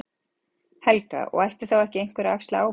Helga: Og ætti þá ekki einhver að axla ábyrgð?